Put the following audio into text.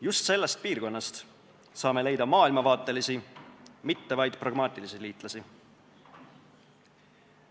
Just sellest piirkonnast saame leida maailmavaatelisi, mitte vaid pragmaatilisi liitlasi.